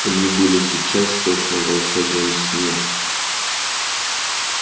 они были сейчас точно в волшебном сне